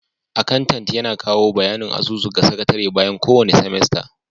Akantant yana kawo bayanin asusu ga sakatare bayan kowane semester.